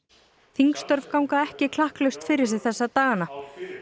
þingstörf ganga ekki klakklaust fyrir sig þessa dagana